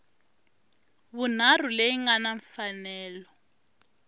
vunharhu leyi nga na mfanelo